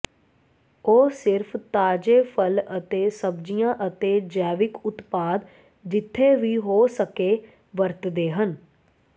ਉਹ ਸਿਰਫ ਤਾਜੇ ਫਲ ਅਤੇ ਸਬਜ਼ੀਆਂ ਅਤੇ ਜੈਵਿਕ ਉਤਪਾਦ ਜਿੱਥੇ ਵੀ ਹੋ ਸਕੇ ਵਰਤਦੇ ਹਨ